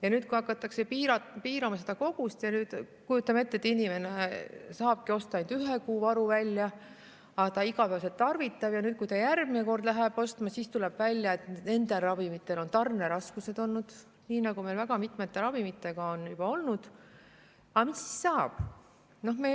Aga kui hakatakse müügikoguseid piirama ja kujutame ette, et inimene saabki osta ainult ühe kuu varu välja, ent ta igapäevaselt tarvitab mõnda ravimit ning kui ta järgmine kord läheb seda ostma, siis tuleb välja, et on tarneraskused olnud, nii nagu meil väga mitmete ravimitega on juba olnud, mis siis saab?